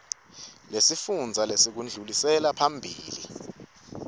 lesifundza lelekudluliselwa phambili